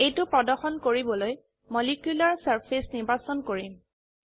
এইটো প্ৰদৰ্শন কৰিবলৈ মলিকিউলাৰ চাৰ্ফেচ নিৰ্বাচন কৰিম